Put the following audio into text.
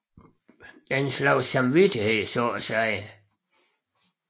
En slags samvittighed så at sige